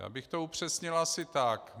Já bych to upřesnil asi tak.